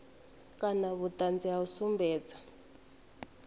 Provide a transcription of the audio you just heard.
kana vhuṱanzi ha u sumbedza